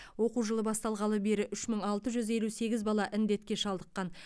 оқу жылы басталғалы бері үш мың алты жүз елу сегіз бала індетке шалдыққан